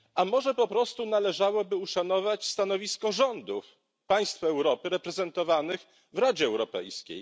A może po prostu należałoby uszanować stanowisko rządów państw Europy reprezentowanych w Radzie Europejskiej?